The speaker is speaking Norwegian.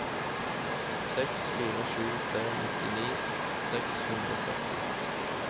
seks fire sju tre nitti seks hundre og førti